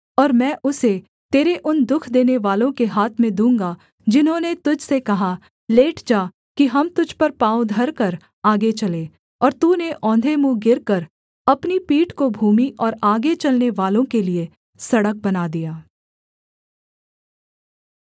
और मैं उसे तेरे उन दुःख देनेवालों के हाथ में दूँगा जिन्होंने तुझ से कहा लेट जा कि हम तुझ पर पाँव धरकर आगे चलें और तूने औंधे मुँह गिरकर अपनी पीठ को भूमि और आगे चलनेवालों के लिये सड़क बना दिया